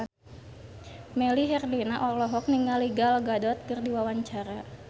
Melly Herlina olohok ningali Gal Gadot keur diwawancara